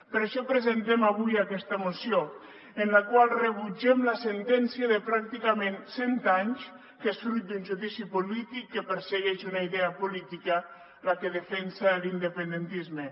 per això presentem avui aquesta moció en la qual rebutgem la sentència de pràcticament cent anys que és fruit d’un judici polític que persegueix una idea política la que defensa l’independentisme